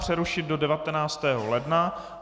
Přerušit do 19. ledna.